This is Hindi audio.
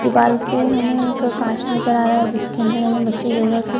दीवाल पे हमें एक कांच नजर आ रहा है जिसके अंदर हमें बच्चे योगा के --